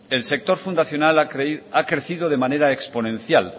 el sector fundacional ha crecido de manera exponencial